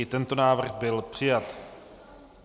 I tento návrh byl přijat.